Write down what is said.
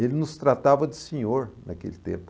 Ele nos tratava de senhor naquele tempo.